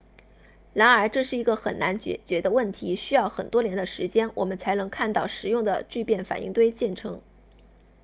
然而这是一个很难解决的问题需要很多年的时间我们才能看到实用的聚变反应堆建成